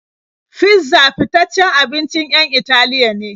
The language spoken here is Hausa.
Fizza fitaccen abincin 'yan Italiya ne.